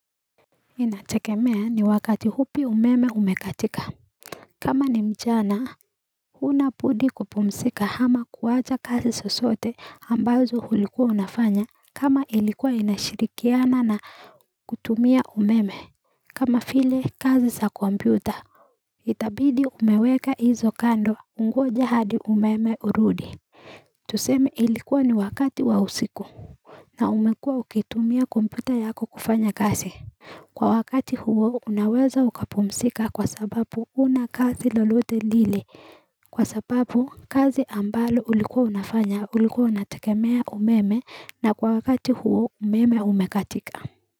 Inategemea ni wakati hupi umeme umekatika kama ni mchana unabudi kupumsika hama kuwacha kazi zosote ambazo hulikuwa unafanya kama ilikuwa inashirikiana na kutumia umeme kama vile kazi sa kompyuta itabidi umeweka hizo kando ungoje hadi umeme urudi tuseme ilikuwa ni wakati wa usiku na umekua ukitumia kompyuta yako kufanya kazi Kwa wakati huo unaweza ukapumisika kwa sababu una kazi lolote lili kwa sababu kazi ambalo ulikuwa unafanya ulikuwa unategemea umeme na kwa wakati huo umeme umekatika.